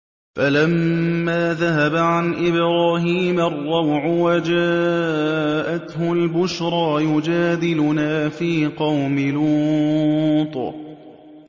فَلَمَّا ذَهَبَ عَنْ إِبْرَاهِيمَ الرَّوْعُ وَجَاءَتْهُ الْبُشْرَىٰ يُجَادِلُنَا فِي قَوْمِ لُوطٍ